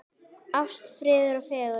Ást, friður og fegurð.